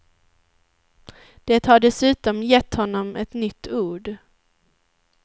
Det har dessutom gett honom ett nytt ord.